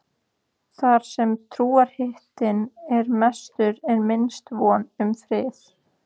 Þar sem trúarhitinn er mestur er minnst von um frið.